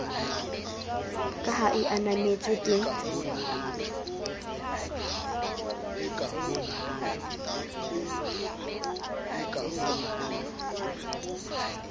ka ha e ananetswe ke